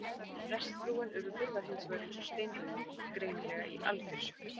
Prestsfrúin Urður var hins vegar eins og steinrunnin, greinilega í algjöru sjokki.